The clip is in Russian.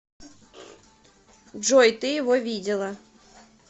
джой ты его видела